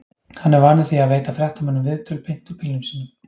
Hann er vanur því að veita fréttamönnum viðtöl beint úr bílnum sínum.